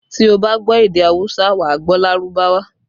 Tí o bá gbọ́ èdè awusa, wà á gbọ́ Lárúbáwá